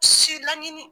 Si laɲini